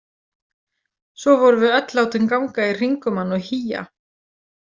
Svo vorum við öll látin ganga í hring um hann og hía.